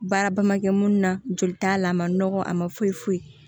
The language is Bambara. Baara ba ma kɛ munnu na joli t'a la a ma nɔgɔ a ma foyi foyi